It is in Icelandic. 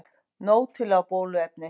Nóg til af bóluefni